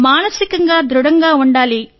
మానసికంగా దృఢంగా ఉండాలి